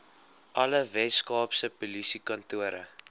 alle weskaapse polisiekantore